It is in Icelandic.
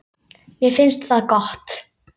Mér finnst það gott.